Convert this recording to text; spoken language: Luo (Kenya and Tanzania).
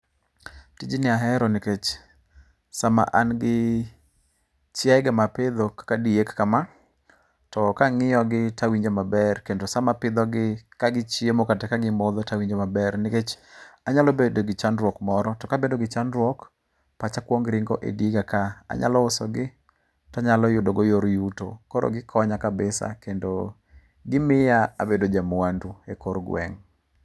Tijni ahero nikech sama an gi chiayega mapidho kaka diek kama, to ka ang'iyogi nto awinjo maber kendo sama apidhogi ka gichiemo kata ka gimodho to awinjo maber. Nikech anyalo bedo gi chandruok moro to kabedo gi chandruok, pacha kuongo ringo e diega kaa. Anyalo usogi to anyalo yudogo yor yuto. Koro gikonya kabisa kendo gimiya abedo ja mwandu ekor gweng'.